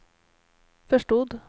förstod